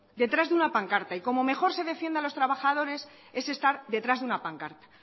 detrás de una pancarta y como mejor se defienda a los trabajadores es estar detrás de una pancarta